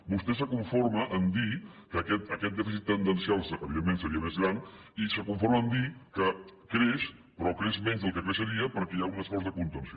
vostè es conforma a dir que aquest dèficit tendencial evidentment seria més gran i es conforma a dir que creix però creix menys del que creixeria perquè hi ha un esforç de contenció